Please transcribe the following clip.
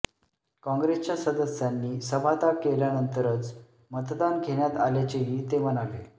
काँग्रेसच्या सदस्यांनी सभात्याग केल्यानंतरच मतदान घेण्यात आल्याचेही ते म्हणाले